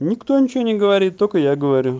никто ничего не говорит только я говорю